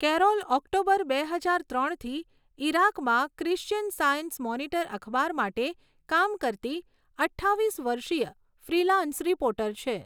Carol October બે હજાર ત્રણથી ઇરાકમાં ક્રિશ્ચિયન સાયન્સ મોનિટર અખબાર માટે કામ કરતી અઠ્ઠાવીસ વર્ષીય ફ્રીલાન્સ રિપોર્ટર છે.